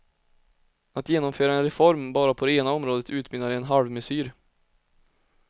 Att genomföra en reform bara på det ena området utmynnar i en halvmesyr.